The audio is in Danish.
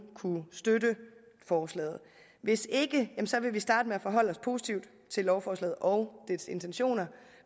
kunne støtte forslaget hvis ikke vil vi starte med at forholde os positivt til lovforslaget og dets intentioner